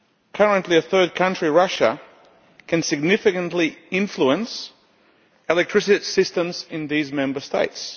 Currently a third country Russia can significantly influence electricity systems in these Member States.